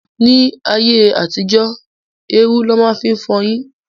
Ní ayé àtijó, érú lọ máa ń fi fọyín.